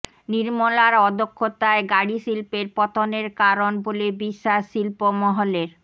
নির্মলার অদক্ষতাই গাড়ি শিল্পের পতনের কারণ বলে বিশ্বাস শিল্প মহলের